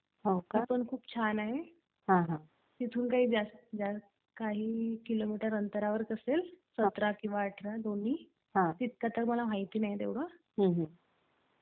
ते पण खुप छान आहे, तिथून काही किलोमीटर अंतरावरच असेल, १७ किंवा १८ दोन्ही, तितकं तर मला माहिती नाही तेव्हडं, पण जवळच आहे.